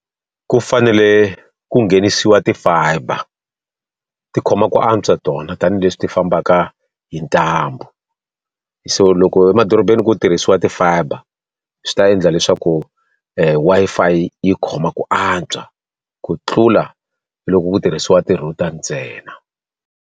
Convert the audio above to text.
Ku fanele ku nghenisiwa ti-fiber. Ti khoma ku antswa tona tanihileswi ti fambaka hi ntambu. So loko emadorobeni ku tirhisiwa ti-fiber, swi ta endla leswaku Wi-Fi yi khoma ku antswa ku tlula loko ku tirhisiwa ti-router ntsena.